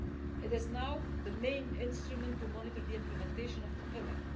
It is now the main instrument for monitoring the implementation of the Pillar.